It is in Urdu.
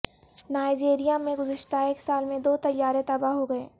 نائجیریا میں گزشتہ ایک سال میں دو طیارے تباہ ہوگئے